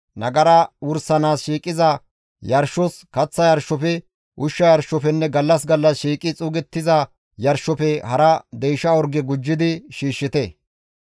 Nagara wursanaas shiiqiza yarshos, kaththa yarshofe, ushsha yarshofenne gallas gallas shiiqi xuugettiza yarshofe hara deysha orge gujjidi shiishshite.